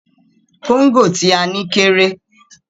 Kóńgò tí a ní kéré.